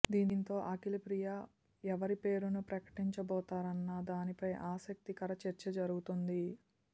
దీంతో అఖిలప్రియ ఎవరి పేరును ప్రకటించబోతారన్న దానిపై ఆసక్తికర చర్చ జరుగుతోంది